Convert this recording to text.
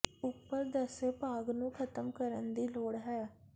ਉੱਪਰ ਦੱਸੇ ਭਾਗ ਨੂੰ ਖ਼ਤਮ ਕਰਨ ਦੀ ਲੋੜ ਹੈ